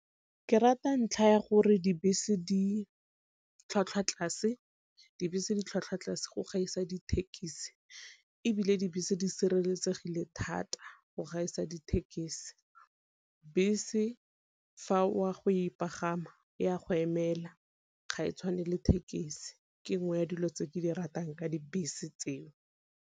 Ke rata ntlha ya gore dibese di tlhwatlhwa tlase, dibese di tlhwatlhwa tlase go gaisa dithekisi, ebile dibese di sireletsegile thata go gaisa dithekesi. Bese fa o a go pagama e a go emela ga e tshwane le thekesi ke nngwe ya dilo tse ke di ratang ka dibese tseo.